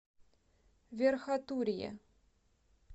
верхотурье